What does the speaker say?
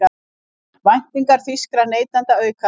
Væntingar þýskra neytenda aukast